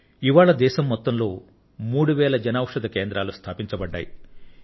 ఇవాళ దేశం మొత్తంలో మూడు వేల జన ఔషధి కేంద్రాలు స్థాపించబడ్డాయి